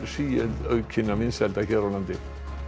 síaukinna vinsælda hér á landi